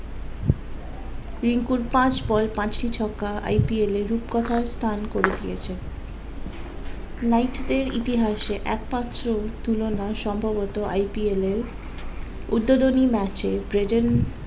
রিঙ্কুর পাঁচ বল পাঁচটি ছক্কা IPL এ রূপকথার স্থান করে দিয়েছে নাইট দের ইতিহাসে একমাত্র তুলনা সম্ভবত IPL এ উদ্বোধনী ম্যাচে